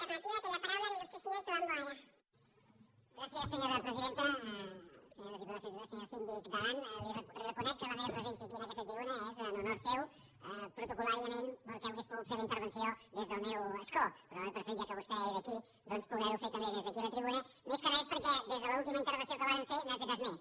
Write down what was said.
senyors diputats senyo·res diputades senyor síndic d’aran li reconec que la meva presència en aquesta tribuna és en honor seu protocol·làriament perquè hauria pogut fer la inter·venció des del meu escó però he preferit ja que vostè era aquí doncs poder·ho fer també des d’aquí la tri·buna més que res perquè des de l’última intervenció que vàrem fer no hem fet res més